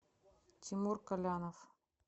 тимур колянов